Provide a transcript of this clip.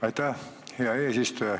Aitäh, hea eesistuja!